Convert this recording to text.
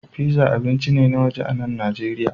Pizza abinci ne na waje a nan Najeriya